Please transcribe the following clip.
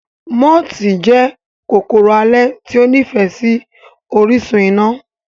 Mooti jẹ́ kòkòrò alẹ́ tí ó nífẹ̀ẹ́ sí orísun iná.